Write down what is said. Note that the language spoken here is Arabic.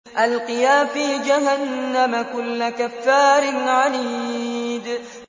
أَلْقِيَا فِي جَهَنَّمَ كُلَّ كَفَّارٍ عَنِيدٍ